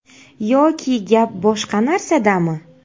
Yoki gap boshqa narsadami?